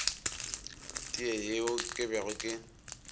tee yeo ke bego ke